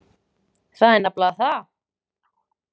Það er nefnilega það.